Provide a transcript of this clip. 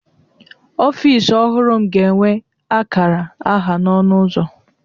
Ọfịs ọhụrụ m ga-enwe akara aha n'ọnụ ụzọ.